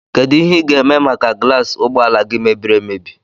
Kedụ ihe i ga -eme maka gulas ụgbọala gị mebiri emebi?